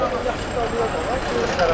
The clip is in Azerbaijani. Yaxşıdan da yoxdur.